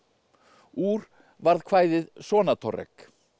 úr varð kvæðið Sonatorrek